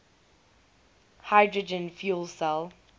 hydrogen fuel cell